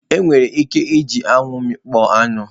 Enwere ike iji anyanwu mmikpo anu.